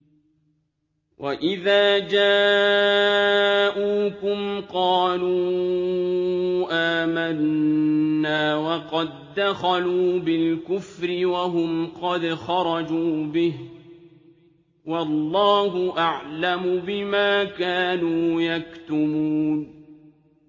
وَإِذَا جَاءُوكُمْ قَالُوا آمَنَّا وَقَد دَّخَلُوا بِالْكُفْرِ وَهُمْ قَدْ خَرَجُوا بِهِ ۚ وَاللَّهُ أَعْلَمُ بِمَا كَانُوا يَكْتُمُونَ